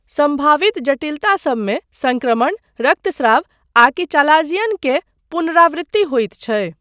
सम्भावित जटिलतासबमे, सङ्क्रमण, रक्तस्राव, आकि चालाज़ियन के पुनरावृत्ति होइत छै।